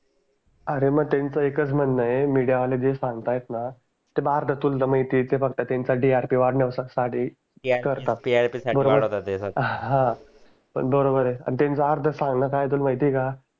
अरे माह त्यांचा एकाच म्हणणं आहे मीडिया वले जे सांगतात न भारतात तुला व ते माहिती आहे ते फक्त त्यांचा TRP वाढण्यासाठि करतात बरोबर हा बरोबर आहे आणि त्यांचं अर्ध सांगणं काय आहे तुला माहिती आहे का